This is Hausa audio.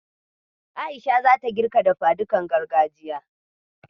A'isha zata girka dafadukan gargajiya.